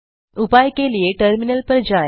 उपाय के लिए टर्मिनल पर जाएँ